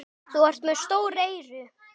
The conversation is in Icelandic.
Þú ert með stór eyru.